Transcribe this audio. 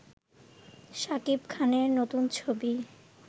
সাকিব খানের নতুন ছবি